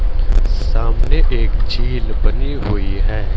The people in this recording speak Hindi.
सामने एक झील बनी हुई है।